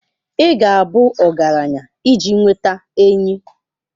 Ị ga-abụ ọgaranya iji nweta enyi.